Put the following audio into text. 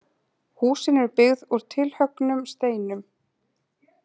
Húsin eru byggð úr tilhöggnum steinum.